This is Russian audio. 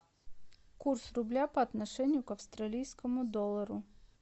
курс рубля по отношению к австралийскому доллару